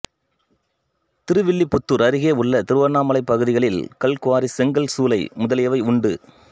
திருவில்லிபுத்தூர் அருகே உள்ள திருவண்ணாமலை பகுதிகளில் கல்குவாரி செங்கல் சூளை முதலியவை உண்டு